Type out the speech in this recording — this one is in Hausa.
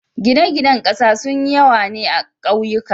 gine gine ƙasa sun yawa ne akauyuka